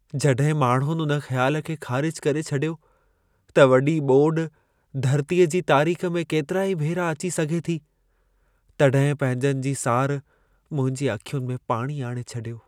जॾहिं माण्हुनि उन ख़्यालु खे ख़ारिजु करे छॾियो त वॾी ॿोॾि धरतीअ जी तारीख़ में केतिराई भेरा अची सघे थी, तॾहिं पंहिंजनि जी सार मुंहिंजी अखियुनि में पाणी आणे छॾियो।